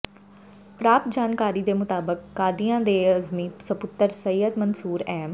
ਪ੍ਰਾਪਤ ਜਾਣਕਾਰੀ ਦੇ ਮੁਤਾਬਕ ਕਾਦੀਆਂ ਦੇ ਅਜ਼ਮੀ ਸਪੁੱਤਰ ਸਯਦ ਮਨਸੂਰ ਅਹਿਮ